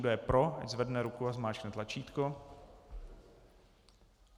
Kdo je pro, ať zvedne ruku a zmáčkne tlačítko.